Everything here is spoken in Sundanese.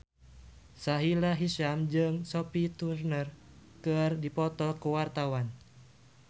Sahila Hisyam jeung Sophie Turner keur dipoto ku wartawan